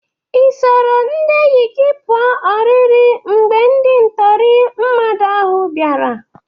Ị soro ndị enyi gị pụa oriri mgbe ndị ntọrị mmadụ ahụ bịara?